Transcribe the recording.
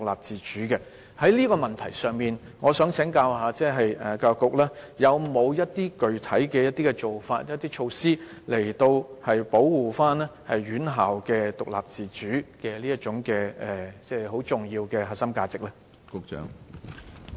就這個問題，我想請教局長，教育局會否採取一些具體做法或措施，以保護院校獨立自主這重要的核心價值？